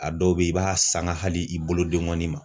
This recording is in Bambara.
A dɔw be yen i b'a sanga hali i bolodenkɔni ma.